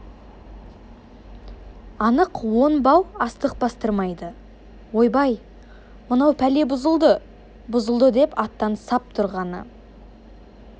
анық он бау астық бастырмайды ойбай мынау пәле бұзылды бұзылды деп аттан сап тұрғаны